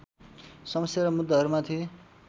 समस्या र मुद्दाहरूमाथि